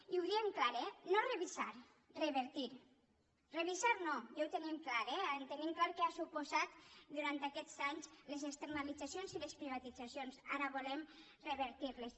i ho diem clar eh no revisar revertir revisar no ja ho tenim clar eh tenim clar què han suposat durant aquests anys les externalitzacions i les privatitzacions ara volem revertir les